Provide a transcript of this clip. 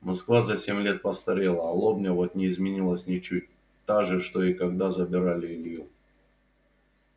москва за семь лет постарела а лобня вот не изменилась ничуть та же что и когда забирали илью